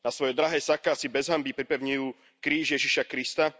Na svoje drahé saká si bez hanby pripevňujú kríž Ježiša Krista.